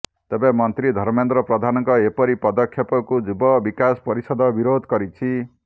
ତେବେ ମନ୍ତ୍ରୀ ଧର୍ମେନ୍ଦ୍ର ପ୍ରଧାନଙ୍କ ଏପରି ପଦକ୍ଷେପକୁ ଯୁବ ବିକାଶ ପରିଷଦ ବିରୋଧ କରିଛି